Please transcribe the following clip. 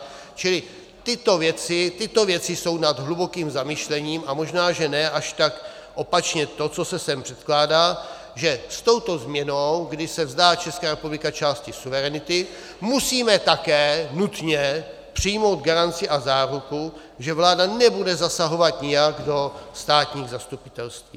Čili tyto věci jsou na hluboké zamyšlení a možná, že ne až tak opačně to, co se sem předkládá, že s touto změnou, kdy se vzdá Česká republika části suverenity, musíme také nutně přijmout garanci a záruku, že vláda nebude zasahovat nijak do státních zastupitelství.